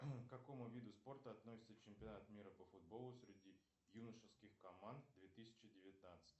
к какому виду спорта относится чемпионат мира по футболу среди юношеских команд две тысячи девятнадцать